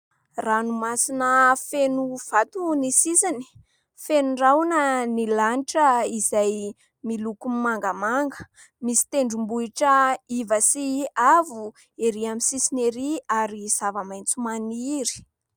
Ranomasina feno vato ny sisiny, feno rahona ny lanitra izay miloko mangamanga, misy tendrom-bohitra iva sy avo erỳ amin'ny sisiny erỳ ary zava-maitso maniry.